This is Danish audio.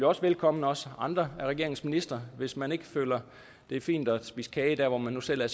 også velkommen og også andre af regeringens ministre hvis man ikke føler det er fint at spise kage der hvor man nu selv er